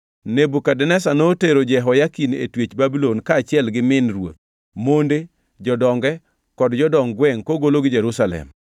Nebukadneza notero Jehoyakin e twech Babulon, kaachiel gi min ruoth, monde, jodonge kod jodong gwengʼ kogologi Jerusalem.